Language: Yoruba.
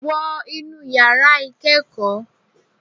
Wọ inú yàrá ìkẹ́ẹ̀kọ́!